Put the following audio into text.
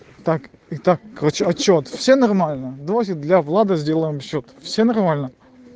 так и так короче отчёт все нормально давайте для влада сделаем счёт все нормально